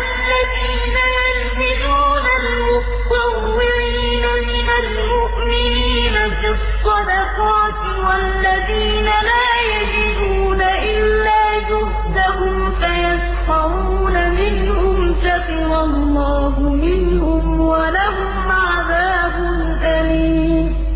الَّذِينَ يَلْمِزُونَ الْمُطَّوِّعِينَ مِنَ الْمُؤْمِنِينَ فِي الصَّدَقَاتِ وَالَّذِينَ لَا يَجِدُونَ إِلَّا جُهْدَهُمْ فَيَسْخَرُونَ مِنْهُمْ ۙ سَخِرَ اللَّهُ مِنْهُمْ وَلَهُمْ عَذَابٌ أَلِيمٌ